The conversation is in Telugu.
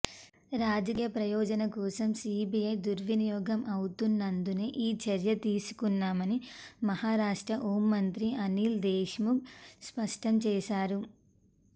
రాజకీయ ప్రయోజనా కోసం సీబీఐ దుర్వినియోగం అవుతున్నందునే ఈ చర్య తీసుకున్నామని మహారాష్ట్ర హోంమంత్రి అనిల్ దేశ్ముఖ్ స్పష్టంచేశారు